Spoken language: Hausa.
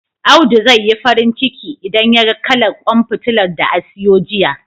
Audu zai yi farin ciki, idan yaga kalar ƙwan fitilar da a siyo jiya..